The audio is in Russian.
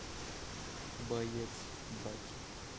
боец баки